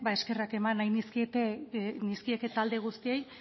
eskerrak eman nahi nizkieke talde guztiei